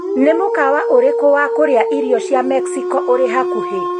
Nĩ mukawa urĩkũ wa kũrĩa irio cia Mexico urĩ hakuhĩ